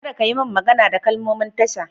Kada kayi min magana da kalmomin tasha!